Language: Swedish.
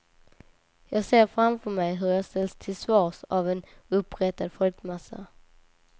Jag ser framför mig hur jag ställs till svars av en uppretad folkmassa.